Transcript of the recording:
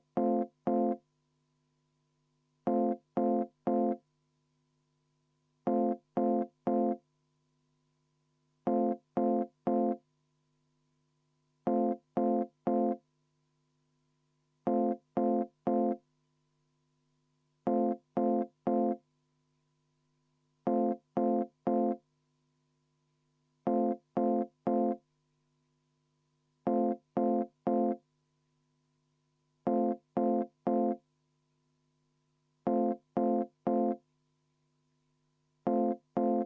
Ja enne veel, kui me läheme päriselt hääletuse juurde, soovin ma kohaloleku kontrolli, kuna protseduuriliselt, et istung ei katkeks ...